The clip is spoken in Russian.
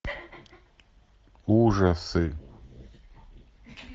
ужасы